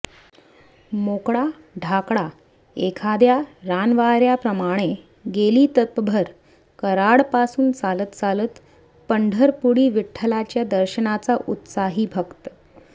मोकळा ढाकळा एखाद्या रानवाऱ्याप्रमाणे गेली तपभर कराड पासून चालत चालत पंढरपुरी विठ्ठलाच्या दर्शनाचा उत्साही भक्त